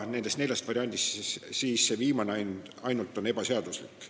Nendest neljast variandist ainult viimane on ebaseaduslik.